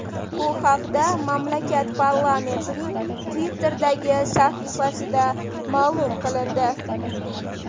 Bu haqda mamlakat parlamentining Twitter’dagi sahifasida ma’lum qilindi .